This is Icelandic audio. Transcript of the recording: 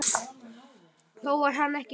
Þó var hann ekki viss.